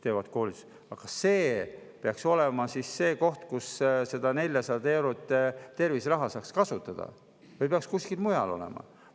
Aga kas see peaks olema see koht, kus 400 eurot terviseraha saama kasutada, või peaks kuskil mujal olema?